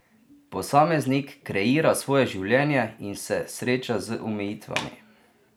Posameznik kreira svoje življenje in se sreča z omejitvami.